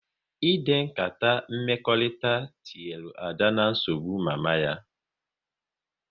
Ịde nkata mmekọrịta tinyere Ada na nsogbu mama ya